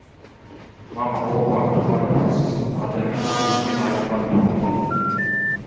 мама ол барып тұрған опасыз адами қасиеттен айырылған доңыз екен